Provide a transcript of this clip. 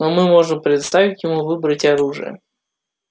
но мы можем предоставить ему выбрать оружие